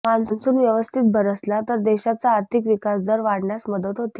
monsoon व्यवस्थित बरसला तर देशाचा आर्थिक विकास दर वाढण्यास मदत होते